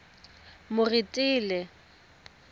moretele